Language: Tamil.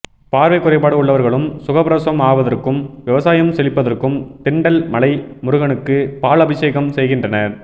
பார்வை குறைபாடு உள்ளவர்களும் சுகப்பிரசவம் ஆவதற்கும் விவசாயம் செழிப்பதற்கும் திண்டல் மலை முருகனுக்கு பால் அபிஷேகம் செய்கின்றனர்